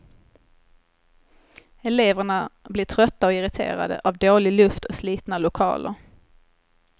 Eleverna blir trötta och irriterade av dålig luft och slitna lokaler.